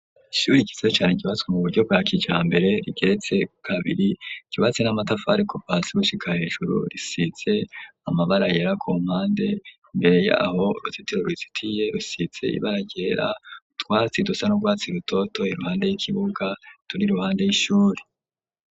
Ishuri ryiza cane ryubatswe mu buryo bwa kijambere, rigeretse kabiri, ryubatse n'amatafari, kuva hasi gushika hejuru, risize amabara yera ku mpande ,mbere yaho urutitiro rizitiye rusize ibara ryera, utwatsi dusa nurwatsi rutoto ,iruhande y'ikibuga turi ruhande y'ishuri